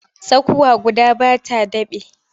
Tsakuwa guda ba ta daɓe.